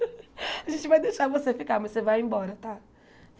A gente vai deixar você ficar, mas você vai embora, tá?